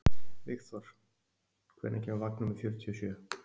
Vígþór, hvenær kemur vagn númer fjörutíu og sjö?